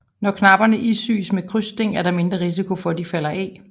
Når knapperne isyes med krydssting er der mindre risiko for at de falder af